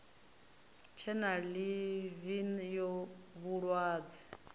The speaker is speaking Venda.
tshe na ḽivi ya vhulwadze